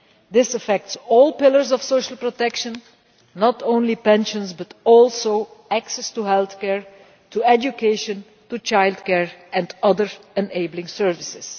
This affects all pillars of social protection not only pensions but also access to healthcare, education, childcare and other enabling services.